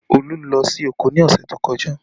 Olú lọ sí oko ní ọ̀sẹ̀ tó kọjá